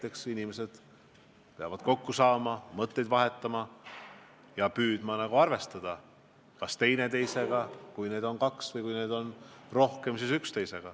Eks inimesed peavad kokku saama, mõtteid vahetama ja püüdma arvestada kas teineteisega, kui neid on kaks, või üksteisega, kui neid on rohkem.